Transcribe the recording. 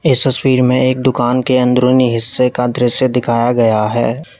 इस तस्वीर में एक दुकान के अंदरूनी हिस्से का दृश्य दिखाया गया है।